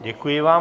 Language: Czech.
Děkuji vám.